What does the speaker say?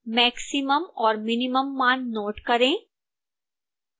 maximum और minimum मान note करें